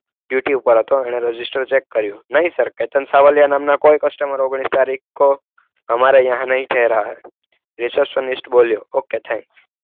Duty ઉપર હતો એણે રજીસ્ટર ચેક કર્યું. नहीं सर केतन सवालिया नामना कोई कस्टमर ओगनिस तारिक को हमारे यहा नहीं ठहरा है રિસેપ્શન બોલ્યો. okay thanks.